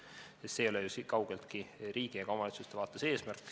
See ei ole ju kaugeltki riigi ega omavalitsuste vaates eesmärk.